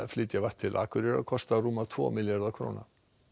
flytja vatn til Akureyrar kosta rúma tvo milljarða króna